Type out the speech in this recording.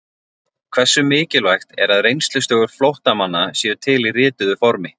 Hversu mikilvægt er að reynslusögur flóttamanna séu til í rituðu formi?